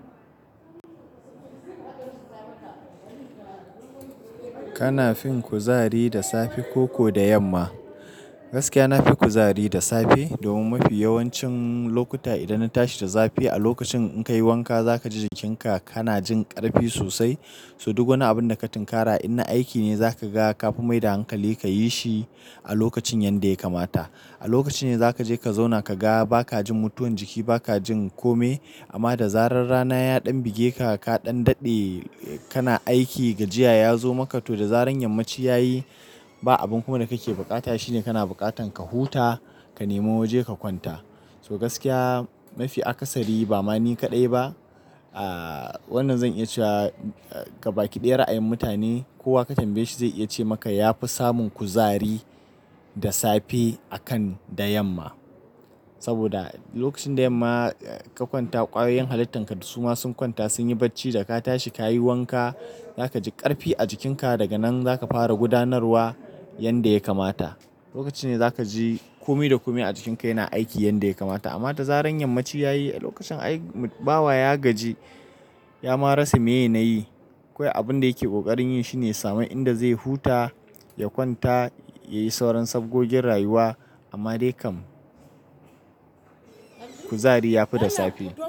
Kana fin kuzari da safe koko da yamma? Gaskiya nafi kuzari da safe domin mafi yawancin lokuta idan na tashi da safe a lokacin in kai wanka za ka ji jikinka kana jin ƙarfi sosai. So duk wani abin da ka tinkara in na aiki ne za ka ga ka fi mai da hankali ka yi shi a lokacin yanda ya kamata. A lokaci ne za ka je ka zauna ka ga ba ka jin mutuwan jiki ba ka jin kome. Amma da zarar rana ya ɗan buge ka ka ɗan daɗe kana aiki gajiya ya zo maka to da zaran yammaci ya yi kana aiki gajiya ya zo maka to da zaran yammaci ya yi So gaskiya mafi akasari ba mani kaɗai ba, ah wannan zan iya cewa ga baƙi ɗaya ra'ayin mutane kowa ka tambaye shi zai iya ce maka ya fi samun kuzari da safe akan da yamma. Saboda lokacin da yamma ka kwanta ƙwayoyin halittan ka da su ma sun kwanta sun yi barci da ka tashi ka yi wanka za ka ji ƙarfi a jikinka daga nan za ka fara gudanarwa yanda ya kamata. Lokaci ne za ka ji komai da komai a jikinka yana aiki yanda ya kamata. Amma da zaran yammaci ya yi lokacin ai bawa ya gaji ya marasa me ya na yi. Kowai abun da yake ƙoƙarin yi shine same inda zai huta ya kwanta, ya yi sauran safbgogin rayuwa amma dai kam kuzari ya fi da safe.